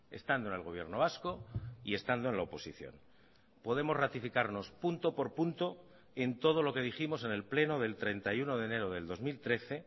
estando en el gobierno vasco y estando en la oposición podemos ratificarnos punto por punto en todo lo que dijimos en el pleno del treinta y uno de enero del dos mil trece